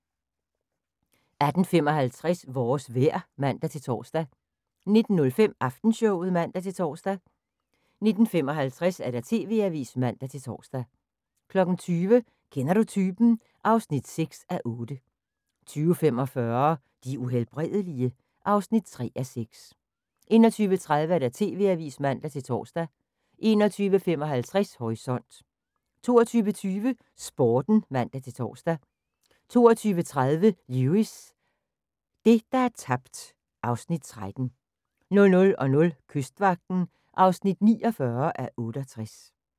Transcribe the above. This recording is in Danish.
18:55: Vores vejr (man-tor) 19:05: Aftenshowet (man-tor) 19:55: TV-avisen (man-tor) 20:00: Kender du typen? (6:8) 20:45: De Uhelbredelige? (3:6) 21:30: TV-avisen (man-tor) 21:55: Horisont 22:20: Sporten (man-tor) 22:30: Lewis: Det, der er tabt (Afs. 13) 00:00: Kystvagten (49:68)